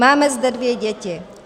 Máme zde dvě děti.